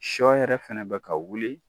Sɔ yɛrɛ fana bi ka wuli